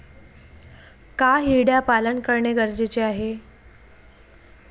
का हिरड्या पालन करणे गरजेचे आहे?